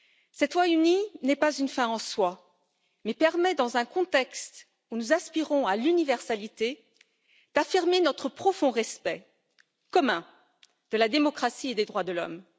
Cette voix unie n'est pas une fin en soi mais permet, dans un contexte où nous aspirons à l'universalité, d'affirmer notre profond respect commun de la démocratie et des droits de l'homme.